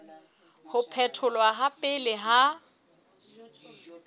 ho phetholwa ha pele ha